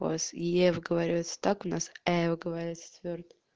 я говорю это так у нас его говорят